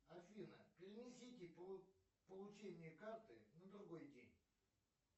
афина перенесите получение карты на другой день